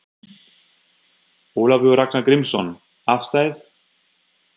Ólafur Ragnar Grímsson: Afstæð?